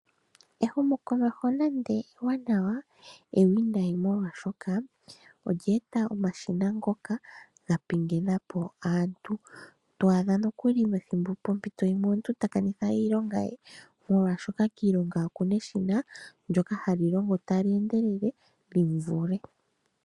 Ehumo komeho nande eewanawa, eewinayi molwashoka olyee ta omashina ngoka ga pengena po aantu. Twadha nokuli poompito dhimwe omuntu ta kanitha iilonga ye, molwashoka kiilonga oku na eshina ndyoka ha li longo talyeendelele lyimuvule.